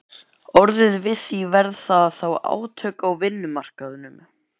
orðið við því, verða þá átök á vinnumarkaðnum?